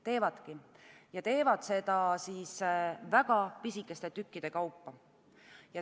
Teevadki ja teevad seda väga pisikeste tükkide kaupa.